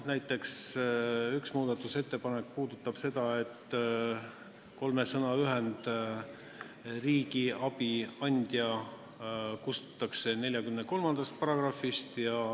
Üks muudatusettepanek puudutab seda, et kolme sõna ühend "regionaalse abi andja" kustutatakse § 43 pealkirjast.